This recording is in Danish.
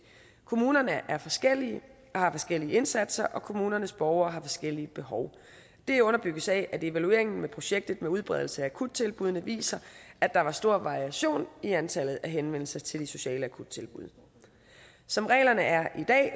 kommunerne er forskellige og har forskellige indsatser og kommunernes borgere har forskellige behov det underbygges af at evalueringen af projektet med udbredelse af akuttilbuddene viser at der var stor variation i antallet af henvendelser til de sociale akuttilbud som reglerne er i dag